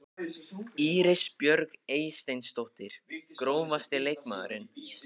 Íris Björk Eysteinsdóttir Grófasti leikmaðurinn?